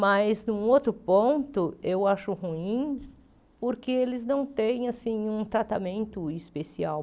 Mas, num outro ponto, eu acho ruim porque eles não têm assim um tratamento especial.